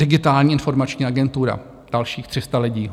Digitální informační agentura, dalších 300 lidí.